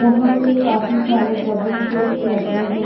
यहा पे काफी सारे डबल बेड्स लगे है।